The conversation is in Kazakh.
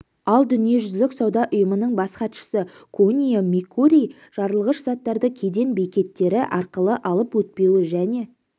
ал дүниежүзілік сауда ұйымының бас хатшысы кунио микурий жарылғыш заттарды кеден бекеттері арқылы алып өтпеуі және